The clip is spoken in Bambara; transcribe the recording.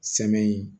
Sɛmɛni